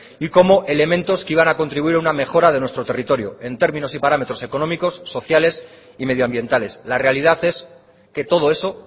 y como elementos que iban a contribuir a una mejora de nuestro territorio en términos y parámetros económicos sociales y medioambientales la realidad es que todo eso